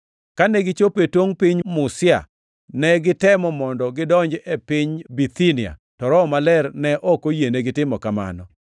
Kane gichopo e tongʼ piny Musia, ne gitemo mondo gidonj e piny Bithinia, to Roho mar Yesu ne ok oyienigi timo mano.